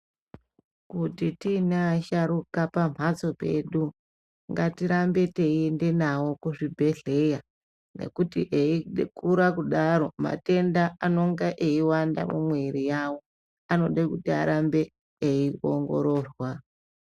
Kuti tiina asharuka pamhatso pedu, ngatirambe teiende navo kuzvibhedhlera, nekuti eikura kudaro matenda anonga eiwanda mumwiiri yavo. Anode kuti arambe eiongororwa.